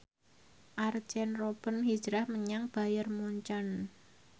Arjen Robben hijrah menyang Bayern Munchen